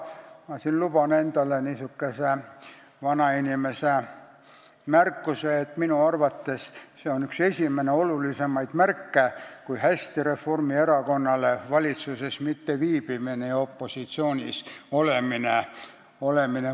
Ma luban siin endale niisuguse vanainimese märkuse, et minu arvates on see üks esimesi olulisemaid märke, kui hästi mõjub Reformierakonnale valitsuses mitteviibimine ja opositsioonis olemine.